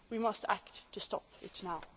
We must act to stop it